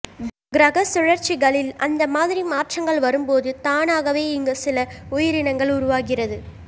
கிரக சுழற்சிகளில் அந்த மாதிரி மாற்றங்கள் வரும்போது தானாகவே இங்கு சில உயிரினங்கள் உருவாகிறது